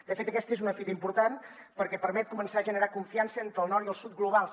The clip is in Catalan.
de fet aquesta és una fita important perquè permet començar a generar confiança entre el nord i el sud globals